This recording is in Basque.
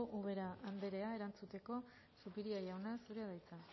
ubera andrea erantzuteko zupiria jauna zurea da hitza